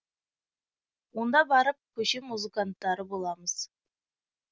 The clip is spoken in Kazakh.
онда барып көше музыканттары боламыз